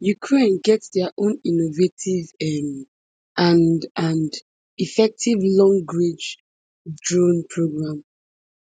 ukraine get dia own innovative um and and effective longrange drone programme